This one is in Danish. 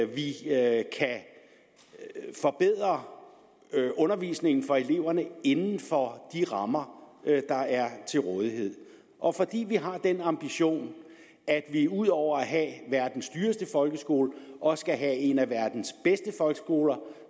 vi kan forbedre undervisningen for eleverne inden for de rammer der er til rådighed og fordi vi har den ambition at vi udover at verdens dyreste folkeskole også skal have en af verdens bedste folkeskoler